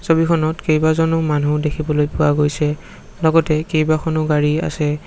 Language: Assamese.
ছবিখনত কেইবাজনো মানুহ দেখিবলৈ পোৱা গৈছে লগতে কেইবাখনো গাড়ী আছে।